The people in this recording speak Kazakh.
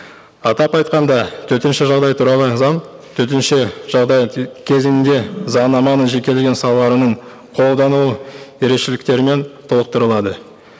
атап айтқанда төтенше жағдай туралы заң төтенше жағдай кезінде заңнаманың жекелеген салаларының қолдану ерекшеліктерімен толықтырылады